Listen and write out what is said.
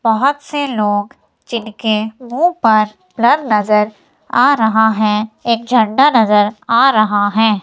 बहोत से लोग जिनके मुंह पर ब्लर नजर आ रहा है एक झंडा नजर आ रहा है।